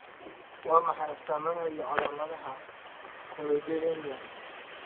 Waa maxay astaamaha iyo calaamadaha Choroideremia?